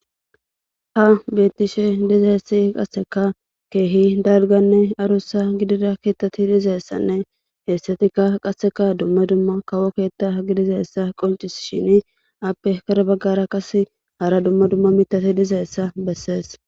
Han beetishe dizeessi qasseka keehi dalganne arussa gidira keettati dizaessanne heessatikka qasseka dumma dumma kawo keetta gidizaessa qoncis shini appe kara baggara qas hara dumma dumma mitati dizaessa bessees